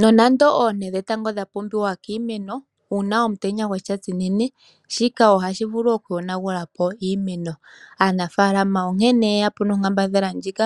Nonande oonte dhetango dha pumbiwa kiimeno, uuna omutenya gwatsa shinene shika ohashi vulu okuyonagulapo iimeno. Aanaafaalama onkene yeya po nonkambadhala ndjika